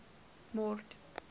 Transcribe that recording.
mord